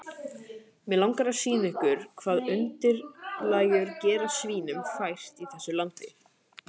Mig langar að sýna ykkur hvað undirlægjurnar gera svínunum fært í þessu landi.